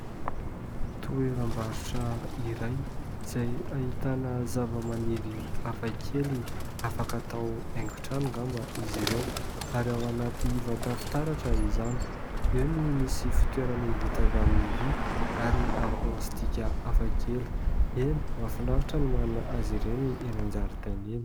Toeram-barotra iray izay ahitana zavamaniry hafakely, afaka atao haingotrano angamba izy ireo ary ao anaty vata fitaratra izany, eo ny misy fitoerana vita avy amin'ny vy ary plastika hafakely, eny mahafinaritra no manana azy ireny eny an-jaridaina eny.